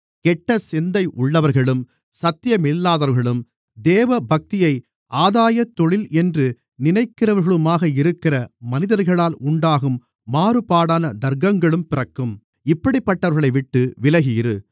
கெட்ட சிந்தையுள்ளவர்களும் சத்தியமில்லாதவர்களும் தேவபக்தியை ஆதாயத்தொழில் என்று நினைக்கிறவர்களுமாக இருக்கிற மனிதர்களால் உண்டாகும் மாறுபாடான தர்க்கங்களும் பிறக்கும் இப்படிப்பட்டவர்களைவிட்டு விலகி இரு